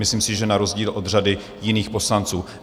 Myslím si, že na rozdíl od řady jiných poslanců.